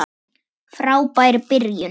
Frábær byrjun.